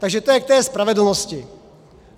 Takže to je k té spravedlnosti.